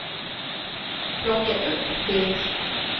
plocka upp det